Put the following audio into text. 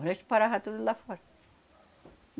O resto parava tudo lá fora.